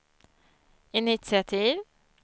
initiativ